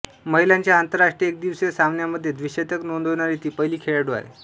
महिलांच्या आंतरराष्ट्रीय एकदिवसीय सामन्यांमध्ये द्विशतक नोंदविणारी ती पहिली खेळाडू आहे